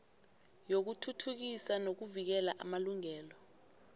yokuthuthukisa nokuvikela amalungelo